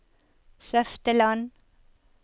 Søfteland